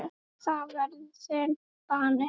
Það verður þinn bani.